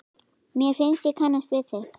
Mér finnst ég kannast við þig!